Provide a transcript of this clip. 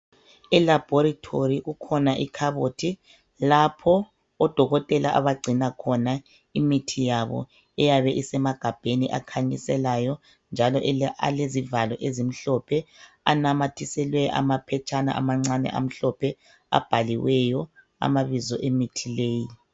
Elaboratory kukhona ikhabothi lapho odokotela abagcina khona imithi yabo eyabe isemagabheni akhanyiselayo njalo alezivalo ezimhlophe anamathiselwe amaphetshana amancane amhlophe abhaliweyo amabizo emithi leyi.